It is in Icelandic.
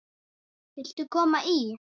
Viltu koma í?